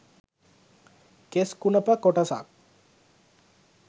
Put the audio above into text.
කෙස් කුණප කොටසක්.